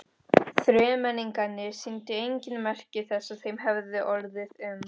Þremenningarnir sýndu engin merki þess að þeim hefði orðið um.